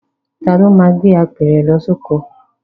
Taàní ó máa gbé apẹ̀rẹ̀ lọ sí oko?